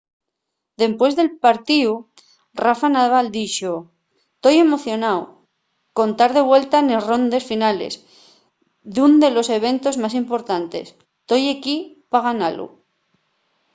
depués del partíu rafa nadal dixo: toi emocionáu con tar de vuelta nes rondes finales d’ún de los eventos más importantes. toi equí pa ganalu